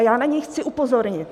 A já na něj chci upozornit.